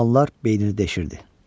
Suallar beynini deşirdi.